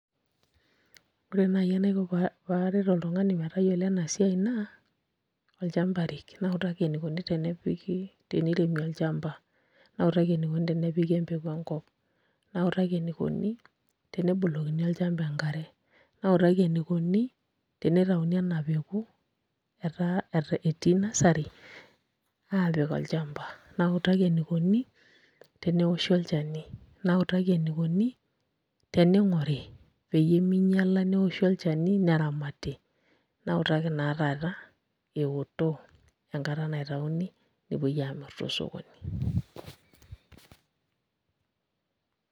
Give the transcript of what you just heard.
Ore naai enaiko pee aret oltung'ani pee eyiolou ena siai naa olchamba arik nautaki enikoni teniremi olchamba nautaki enikoni tenepiki empeku enkop nautaki enikoni tenebolokini olchamba enkare nautaki enikoni tenitauni ena peku etii nursery aapik olchamba nautaki enikoni teneoshi olchani nautaki enikoni tening'ore peyie minyiala neoshi olchani neramati nautaki taa taata eoto enkata naitauni nepuoi aamirr tosokoni.